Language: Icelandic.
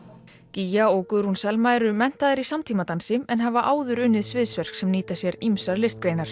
gígja og Guðrún Selma eru menntaðar í en hafa áður unnið sviðsverk sem nýta sér ýmsar listgreinar